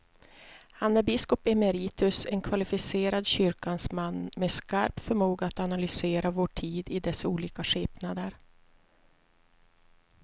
Han är biskop emeritus, en kvalificerad kyrkans man med skarp förmåga att analysera vår tid i dess olika skepnader.